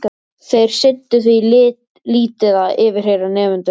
Þeir sinntu því lítið að yfirheyra nemendur.